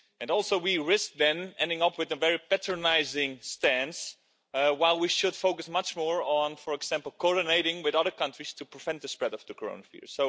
Also, we risk, then, ending up with a very patronising stance, while we should focus much more on, for example, coordinating with other countries to prevent the spread of the coronavirus.